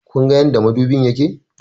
Kunga yadda madubin yake?